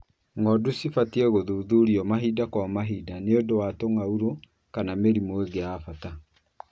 Ng'ondu cibatie gũthuthurio mahinda kwa mahinda nĩ ũndũ wa tũng'aurũ kana mĩrimũ ĩngĩ ya bata.